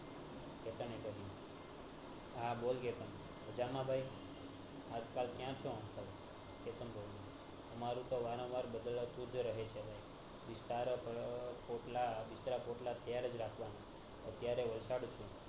હા બોલ કેતન મજા માં ભાઈ આજ કલ ક્યાં ચો uncle કેતન બોલિયો તમારું તોહ વારં વાર બદલતુંજ રહે છે બિસ્તરા~બિસ્તરા પોટલાં તૈયારજ રાખવાના અત્યારે વલસાડ છું